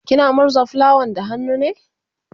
kina murza fulawan da hannu ne?